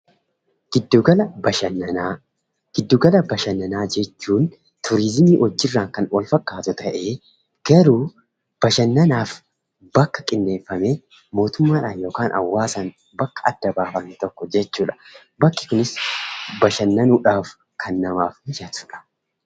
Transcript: Giddu gala bashannanaa: Giddu gala bashannanaa jechuun turiizimii wajjin kan wal fakkaatu ta'ee bashannanaaf bakka kennamee mootummaadhaan bakka adda baafame tokko jechuudha. Bakki kunis bashannanuudhaaf kan namaaf mijatudha.